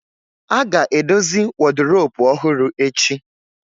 A ga-edozi woduropu ọhụrụ echi